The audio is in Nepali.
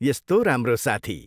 यस्तो राम्रो साथी!